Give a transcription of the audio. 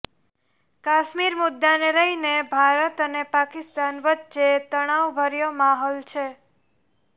કાશ્મીર મુદાને લઈને ભારત અને પાકિસ્તાન વચ્ચે તણાવભર્યો માહોલ છે